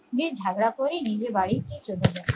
বেশ ঝামেলা করে নিজের বাড়িতে চলে যায়